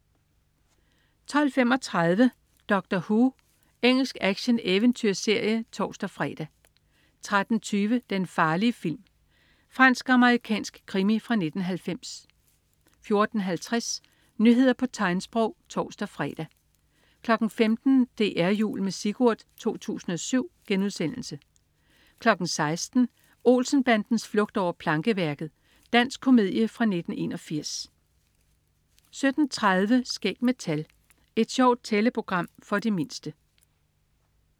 12.35 Doctor Who. Engelsk actioneventyrserie (tors-fre) 13.20 Den farlige film. Fransk-amerikansk krimi fra 1990 14.50 Nyheder på tegnsprog (tors-fre) 15.00 DR Jul med Sigurd 2007* 16.00 Olsen-bandens flugt over plankeværket. Dansk komedie fra 1981 17.30 Skæg med tal. Et sjovt tælleprogram for de mindste